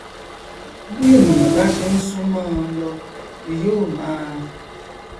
bí ènìà bá ṣe n súnmọnọn lọ ni yó máa